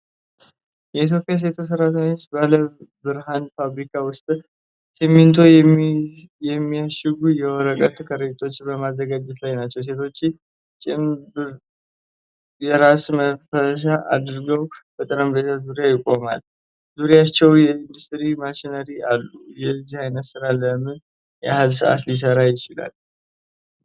የኢትዮጵያ ሴት ሰራተኞች ባለብርሃን ፋብሪካ ውስጥ ሲሚንቶ የሚያሽጉ የወረቀት ከረጢቶችን በማዘጋጀት ላይ ናቸው። ሴቶቹ ጭምብል እና የራስ መሸፈኛ አድርገው በጠረጴዛ ዙሪያ ይቆማሉ፤ ዙሪያቸውም የኢንዱስትሪ ማሽነሪዎች አሉ። የዚህ ዓይነቱ ሥራ ለምን ያህል ሰዓት ሊሠራ ይችላል?